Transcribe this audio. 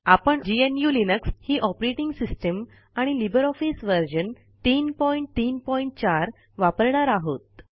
आपण GNU Linux ही operating system आणि लिबर ऑफिस व्हर्जन 334 वापरणार आहोत